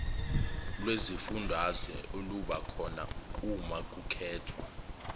lwezifundazwe olubakhona umakukhethwa